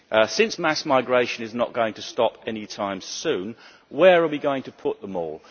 Since mass migration is not going to stop any time soon, where are we going to put them all?